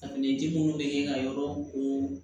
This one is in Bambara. Fini ji munnu be kɛ ka yɔrɔ ko